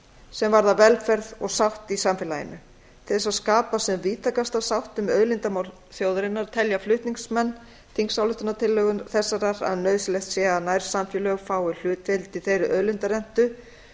sem varðar velferð og sátt í samfélaginu til þess að skapa sem víðtækasta sátt um auðlindamál þjóðarinnar telja flutningsmenn þingsályktunartillögu þessarar að nauðsynlegt sé að nærsamfélög fái hlutdeild í þeirri auðlindarentu